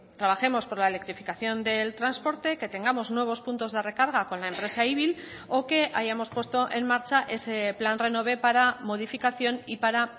trabajemos por la electrificación del transporte que tengamos nuevos puntos de recarga con la empresa ibil o que hayamos puesto en marcha ese plan renove para modificación y para